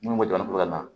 Minnu bɛ dannikoya la